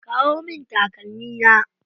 Kawo min takalmi na.